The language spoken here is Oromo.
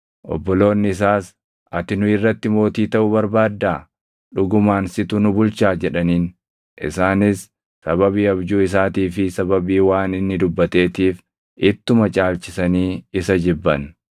Obboloonni isaas, “Ati nu irratti mootii taʼuu barbaaddaa? Dhugumaan situ nu bulchaa?” jedhaniin. Isaanis sababii abjuu isaatii fi sababii waan inni dubbateetiif ittuma caalchisanii isa jibban.